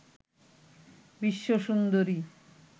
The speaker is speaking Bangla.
বিশ্ব সুন্দরী